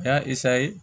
Ya